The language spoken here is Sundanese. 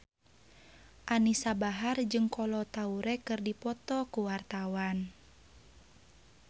Anisa Bahar jeung Kolo Taure keur dipoto ku wartawan